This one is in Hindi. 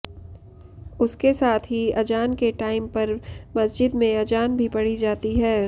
उसके साथ ही अजान के टाइम पर मस्जिद में अजान भी पढ़ी जाती है